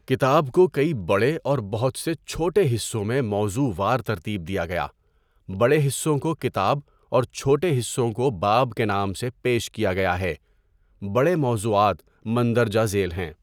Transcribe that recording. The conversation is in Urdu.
کتاب کو کئی بڑے اور بہت سے چھوٹے حِصّوں میں موضوع وار ترتیب دیا گیا۔ بڑے حصوں کو کتاب اور چھوٹے حصوں کو باب کے نام سے پیش کیا گیا ہے۔ بڑے موضوعات مندرجۂ ذیل ہیں۔